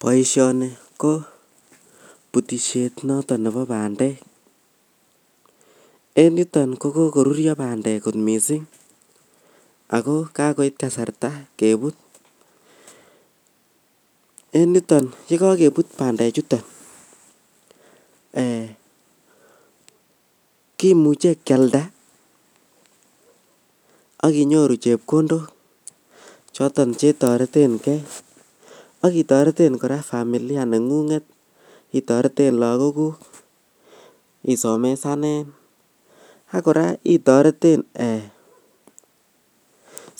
Boishoni kobutishet noton nebo bandek en yuton kokokorurio bandek kot missing' ako kakoit kasarta kebut en yuton yekokebut bandechuto re kimuche kialda ak inyoru chepkondok choton chetoretengee ak itoreten koraa familia nengunget itoreten lagokuk isomesanen ak koraa itoreten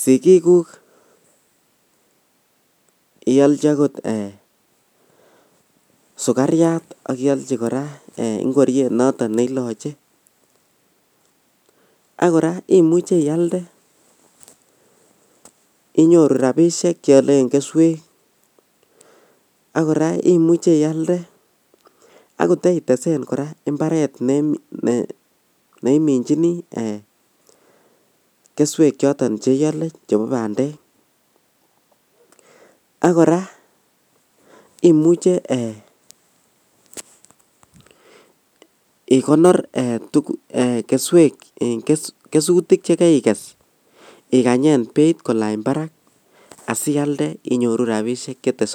sigikuk iyolchin okot sukariat ak iolchi okot ingoriet noton neiloche ak koraa imuche ialde inyoru rabishek cheolen keswek ak koraa imuche ialde akotaitesen koraa imbaret neiminjini eeh keswek choton cheiole chebo bandek ak koraa imuche ee ikonor keswek en kesutik chekeikes ikanyek beit kolany barak asialde inyoru rabishek chetesotin.